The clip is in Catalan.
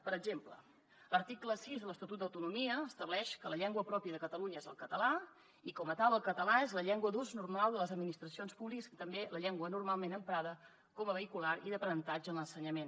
per exemple l’article sis de l’estatut d’autonomia estableix que la llengua pròpia de catalunya és el català i com a tal el català és la llengua d’ús normal de les administracions públiques i també la llengua normalment emprada com a vehicular i d’aprenentatge en l’ensenyament